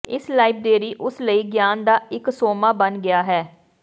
ਇਸ ਲਾਇਬਰੇਰੀ ਉਸ ਲਈ ਗਿਆਨ ਦਾ ਇੱਕ ਸੋਮਾ ਬਣ ਗਿਆ ਹੈ